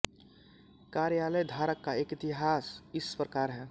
कार्यालय धारक का एक इतिहास इस प्रकार है